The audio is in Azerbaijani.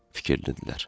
Fikirlənirdilər.